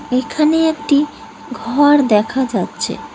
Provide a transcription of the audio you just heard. এখানে একটি ঘর দেখা যাচ্ছে।